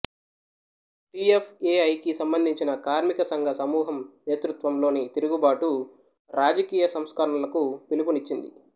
T F A I కి సంబంధించిన కార్మిక సంఘ సమూహం నేతృత్వంలోని తిరుగుబాటు రాజకీయ సంస్కరణలకు పిలుపునిచ్చింది